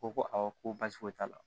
Ko ko awɔ ko baasi foyi t'a la